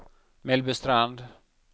Mellbystrand